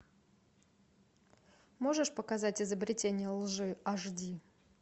можешь показать изобретение лжи аш ди